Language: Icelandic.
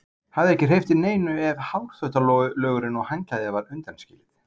Hafði ekki hreyft við neinu ef hárþvottalögurinn og handklæðið var undanskilið.